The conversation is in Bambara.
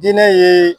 Diinɛ ye